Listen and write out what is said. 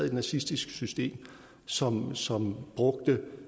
et nazistisk system som som brugte